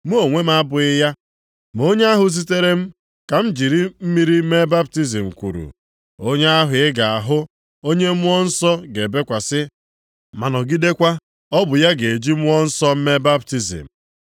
Mụ onwe m amabughị ya, ma onye ahụ zitere m ka m jiri mmiri mee baptizim kwuru, ‘Onye ahụ ị ga-ahụ, onye Mmụọ Nsọ ga-ebekwasị, ma nọgidekwa, ọ bụ ya ga-eji Mmụọ Nsọ mee baptizim.’